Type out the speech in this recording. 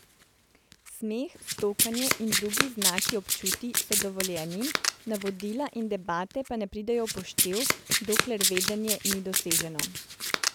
Smeh, stokanje in drugi znaki občutij so dovoljeni, navodila in debate pa ne pridejo v poštev, dokler vedenje ni doseženo.